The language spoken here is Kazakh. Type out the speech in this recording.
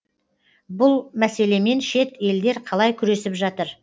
бұл мәселемен шет елдер қалай күресіп жатыр